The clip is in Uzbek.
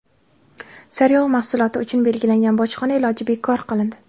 Sariyog‘ mahsuloti uchun belgilangan bojxona boji bekor qilindi.